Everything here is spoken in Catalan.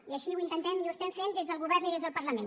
i així ho intentem i ho estem fent des del govern i des del parlament